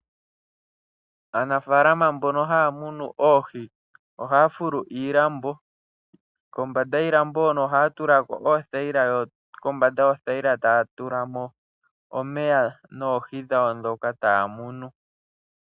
Aanafaalama mbono haamunu oohi ohaafulu iilambo kombanda yiilambo hono ohaa tulako oothayila, yo kombanda yoothayila taatula mo omeya noohi dhawo dhoka taamunu.